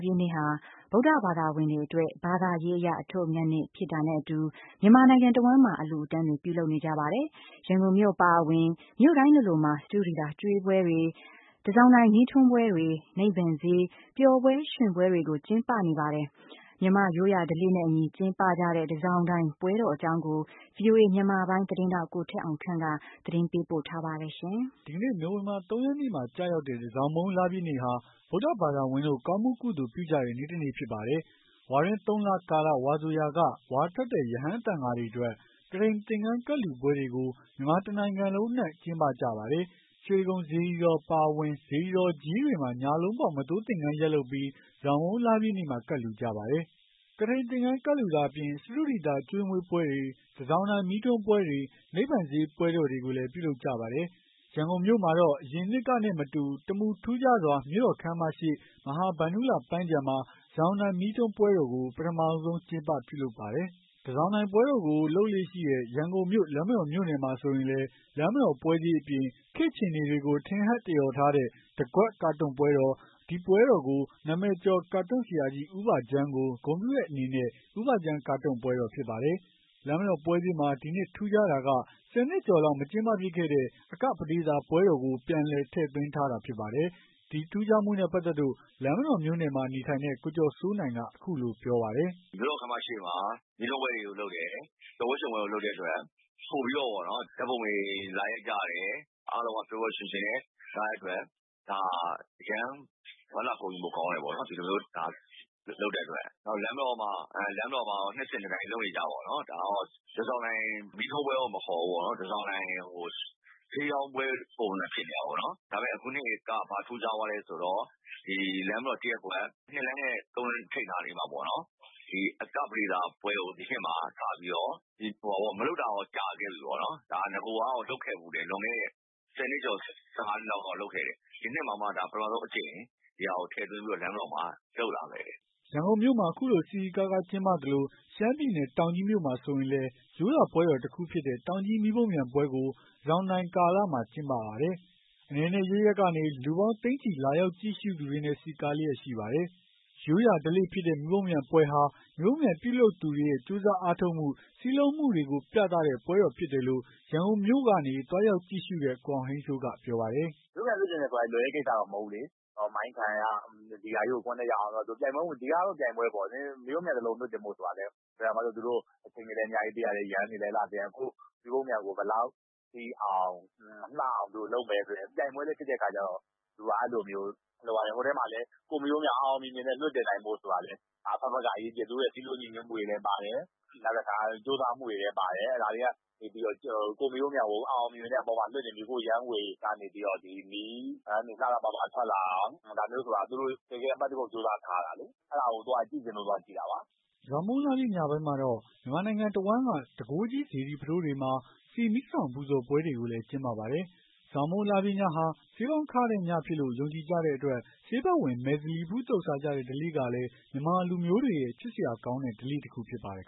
ပြည့်နေ့ဟာ ဗုဒ္ဓဘာသာဝင်တွေအတွက် ဘာသာရေးအရ အထွဋ်အမြတ်နေ့ဖြစ်တာနဲ့အတူ မြန်မာနိုင်ငံတဝန်းမှာ အလှူ အတန်းတွေပြုလုပ်နေကြ ပါတယ်။ ရန်ကုန်မြို့အပါအဝင် မြို့တိုင်းလိုလိုမှာ စတုဒီသာကျွေးပွဲတွေ။ တန်ဆောင်တိုင်မီးထွန်းပွဲတော်တွေ။ နိဗ္ဗာန်ဈေး ပျော်ပွဲရွှင်ပွဲတွေကို ကျင်းပနေပါတယ်။ မြန်မာ့ရိုးရာဓလေ့နဲ့အညီ ကျင်းပကြတဲ့ တန်ဆောင်တိုင်ပွဲတော် အကြောင်း ကို ဗွီအိုအေမြန်မာပိုင်း သတင်းထောက် ကိုထက်အောင်ခန့်က တင်ပြပေးပါမယ်။ ဒီကနေ့နိုဝင်ဘာ ၃ ရက်နေ့မှာကျရောက်တဲ့တန်ဆောင်မုန်းလပြည့်နေ့ဟာ ဗုဒ္ဓဘာသာဝင် တို့ကောင်းမှုကုသိုလ်ပြုကြတဲ့ နေ့တနေ့ဖြစ်ပါတယ်။ ဝါတွင်း ၃ လကာလ ဝါဆိုရာက ဝါထွက်တဲ့ ရဟန်းသံဃာတွေအတွက် ကထိန်သင်္ကန်းကပ်လှူပွဲတွေကို မြန်မာတနိုင်ငံလုံး အနှံ့ကျင်းပကြပါတယ်။ ရွှေတိဂုံစေတီတော်အပါအဝင် စေတီတော်ကြီးတွေမှာ ညလုံးပေါက် မသိုးသင်္ကန်းတွေယက်လုပ်ပြီး တန်ဆောင်မုန်းလပြည့်နေ့မှာ ကပ်လှူကြပါတယ်။ ကထိန်သင်္ကန်းကပ်လှူတာအပြင် စတုဒီသာကျွေးမွေးပွဲတွေ။ တန်ဆောင်တိုင် မီးထွန်းပွဲတော်တွေ နိဗ္ဗာန်ဈေးပွဲတော်တွေကိုလည်း ပြုလုပ်ကြပါတယ်။ ရန်ကုန်မြို့မှာတော့ အရင်နှစ်ကနဲ့မတူ တမူထူးခြားစွာ မြို့တော်ခန်းမရှေ့ မဟာဗန္ဓုလပန်းခြံမှာ တန်ဆောင်တိုင်မီးထွန်းပွဲတော်ကို ပထမဆုံးကျင်းပပြုလုပ်ပါတယ်။ တန်ဆောင်တိုင်ပွဲတော်ကို လုပ်လေ့ရှိတဲ့ ရန်ကုန်မြို့ လမ်းမတော်မြို့နယ်မှာဆိုရင်လည်း လမ်းမတော်ပွဲဈေးအပြင်။ ခေတ်အခြေအနေတွေကို ထင်ဟပ်သရော်ထားတဲ့ တကွက်ကာတွန်းပွဲတော်။ အဲဒီပွဲတော်ကတော့ နာမည်ကျော်ကာတွန်းဆရာကြီး ဦးဘဂျမ်းကို ဂုဏ်ပြုတဲ့အနေနဲ့ ဦးဘဂျမ်းကာတွန်းပွဲတော်ဖြစ်ပါတယ်။ လမ်းမတော်ပွဲဈေးမှာ ဒီနှစ်ထူးခြားတာက၁၀ နှစ်ကျော်လောက် မကျင်းပဖြစ်ခဲ့တဲ့ အကပဒေသာ ပွဲတော်ကိုပြန်လည် ထည့်သွင်းထားတာဖြစ်တဲ့အကြောင်း ဒီနှစ် ထူးခြားမှုနဲ့ပါတ်သက်လို့ လမ်းမတော်မြို့နယ်မှာနေထိုင်တဲ့ကိုကျော်စိုးနိုင်က ပြောပါတယ်။ "မြို့တော်ခမ်းမရှေ့မှာ မီးထွန်းပွဲတွေ လုပ်တယ်။ ပျော်ပွဲရွှင်ပွဲတွေ လုပ်တဲ့အတွက် ပိုပြီးတော့ ဓာတ်ပုံတွေ လာရိုက်ကြတယ်။ အားလုံးက ပျော်ပျော်ရွှင်ရွှင်နဲ့ လာကြတဲ့ အတွက် အရမ်းဝမ်းသာဂုဏ်ယူဖို့ကောင်းတယ်။ ဒီလိုမျိုး လာလုပ်တဲ့အတွက် နောက် လမ်းမတော်မှာ တော့ နှစ်စဉ်နှစ်တိုင်း လုပ်နေကျပေါ့ တန်ဆောင်တိုင်မီးထွန်းပွဲ မခေါ်ပဲ တန်ဆောင်တိုင် ဈေးရောင်းပွဲ ပုံစံမျိုးဖြစ်နေတာပေါ့နော် ဒါပေမဲ့ အခုနှစ်က ဘာထူးခြားသွားလဲ ဆိုတော့ လမ်းမတော် ၁ရပ်ကွက် ၂လမ်းနဲ့ ၃လမ်းထိပ်နားလေးနားမှာ အကပဒေသာကပွဲကို ဒီနှစ်မှာ စပြီးတော့ မလုပ်တာတော့ ကြာခဲ့ပြီပေါ့နော် နဂိုကတော့ လုပ်ခဲ့ဖူးတယ် လွန်ခဲ့တဲ့ ၁၀နှစ်ကျော် ၁၅နှစ်လောက်က လုပ်ခဲ့တယ်။ ဒီနှစ်မှာတာ့ ပထမဆုံးအကြိမ် ထည့်သွင်းပြီးတော့ လမ်းမတော်မှာ လုပ်လာတယ်။" ရန်ကုန်မြို့မှာ ခုလို စည်စည်ကားကား ကျင်းပသလို ရှမ်းပြည်နယ်တောင်ကြီးမြို့မှာ ဆိုရင်လည်းရိုးရာပွဲတခုဖြစ်တဲ့ တောင်ကြီးမီးပုံးပျံပွဲကို တန်ဆောင်တိုင်ကာလမှာ ကျင်းပပါတယ်။ အနယ်နယ်အရပ်ရပ်ကနေ လူပေါင်း သိန်းချီလာရောက်ကြည့်ရှုသူတွေနဲ့ စည်းကားလျက်ရှိပါတယ်။ ရိုးရာဓလေ့ ဖြစ်တဲ့ မီးပုံးပျံပွဲဟာ မီးပုံးပျံပြုလုပ်သူတွေရဲ့ ကြိုးစားအားထုတ်မှု စည်းလုံးမှုတွေကို ပြသတဲ့ ပွဲဖြစ်တယ်လို့ ရန်ကုန်မြို့ကနေ သွားရောက်ကြည့်ရှုတဲ့ ကိုအောင်ဟိန်းစိုးကပြောပါတယ်။ "ရိုးရာဓလေ့ဆိုပေမဲ့ လွယ်တဲ့ကိစ္စတော့ မဟုတ်ဘူးလေ မှိုင်းခံရ ဒီဟာကြီးကို အပေါ်တက်အောင် လုပ်ရ ဒီဟာကတော့ ပြိုင်ပွဲပေါ့လေ သူတို့က ယမ်းတွေနဲ့ လုပ်ရတယ် အလှဆင်ရတယ် ကိုယ့်မီးပုံးပံျကို ဘယ်လောက်ထိအောင် လှအောင် ဘယ်လိုလုပ်မလဲ ဆိုတဲ့ပြိုင်ပွဲလည်းဖြစ်တဲ့အခါကျတော့ ပွဲမှာလည်း ကိုယ့်မီးပုံပျံ အောင်အောင်မြင်မြင် လွှတ်တင်နိုင်ဖို့ အဘက်ဘက်က အရေးကြီးတယ်။ သူတို့ရဲ့စည်းလုံးညီညွတ်မှုတွေလည်း ပါတယ်။ ကြိုးစားမှုတွေလည်းပါတယ် ဒါတွေကနေပြီးတော့ မီးခိုးယမ်းတွေကနေ မီးပန်းတွေ လှလှပပ ထွက်လာအောင် ဒါမျိုးဆိုတာ သူတို့ အပတ်တကုတ်ကြိုးစား ထားရတယ်။ အဲ့တာကို သွားကြည့်လို့သွားကြည့်တာပါ။" တန်ဆောင်မုန်းလပြည့်နေ့ညပိုင်းမှာတော့ မြန်မာနိုင်ငံတဝန်းက တန်ခိုးကြိးစေတီ ပုထိုးဘုရားတွေမှာ ဆီမီး ၁ ထောင်ပူဇော်ပွဲတွေကိုလည်း ကျင်းပပါတယ်။ တန်ဆောင်မုန်းလပြည့်ညဟာ ဆေးပေါင်းခတဲ့ညဖြစ်တယ်လို့ ယုံကြည်ကြတဲ့အတွက် ဆေးဖက်ဝင် မယ်ဇလီဖူးသုတ်စားကြတဲ့ ဓလေ့ကလည်း မြန်မာလူမျိုးတွေရဲ့ ချစ်စရာကောင်းတဲ့ ဓလေ့တခု ဖြစ်ပါတယ်